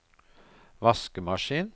vaskemaskin